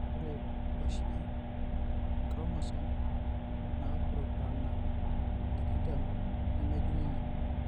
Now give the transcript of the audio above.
Ore oshi inchromosome naapurupurana tikitam nemejung'uni.